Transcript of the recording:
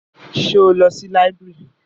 Ṣé o lọ sí library?